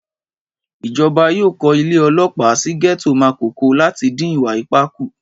Ìjọba yóò kó ilé ọlọ́pàá sí gẹ́tò Màkókò láti dín ìwà ipá kù